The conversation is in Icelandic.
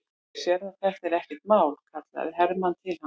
Þú sérð að þetta er ekkert mál, kallaði Hermann til hans.